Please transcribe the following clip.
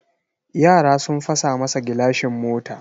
Yara sun fasa masa gilashin mota.